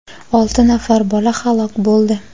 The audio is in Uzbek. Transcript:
olti nafar bola halok bo‘ldi.